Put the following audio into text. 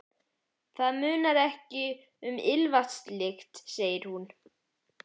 Það munar ekki um ilmvatnslyktina, segir hún.